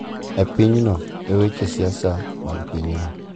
E pinyno e weche siasa mag pinyno.